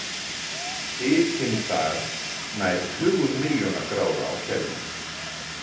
Hitinn þar nær tugum milljóna gráða á Kelvin.